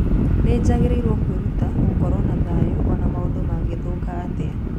Nĩ njagĩrĩirũo kwĩruta gũkorwo na thayũ o na maũndũ mangĩthũka atĩa.